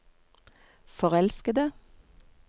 forelskede